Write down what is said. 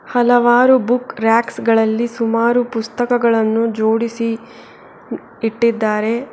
ಹಲವಾರು book racks ಗಳಲ್ಲಿ ಸುಮಾರು ಪುಸ್ತಕಗಳನ್ನು ಜೋಡಿಸಿ ಇಟ್ಟಿದ್ದಾರೆ.